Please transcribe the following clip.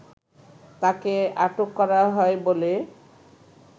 তাকে আটক করা হয় বলে